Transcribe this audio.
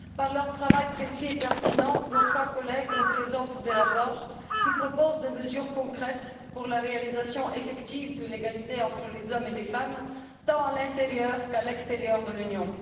Grâce à leur travail précis et pertinent, nos trois collègues nous présentent des rapports qui proposent des mesures concrètes pour la mise en œuvre effective de l'égalité entre les hommes et les femmes, tant à l'intérieur qu'à l'extérieur de l'Union.